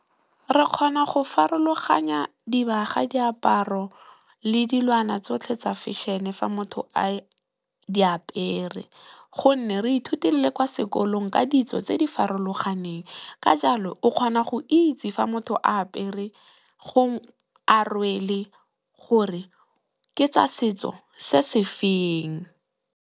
Re kgona go farologanya dibaga diaparo le dilwana tsotlhe tsa feshene fa motho a di apere gonne, re ithutile kwa sekolong ka ditso tse di farologaneng ka jalo o kgona go itse fa motho a apere kgotsa, a rwele gore ke tsa setso se sefeng.